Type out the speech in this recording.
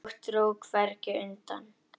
Og dró hvergi undan.